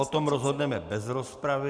O tom rozhodneme bez rozpravy.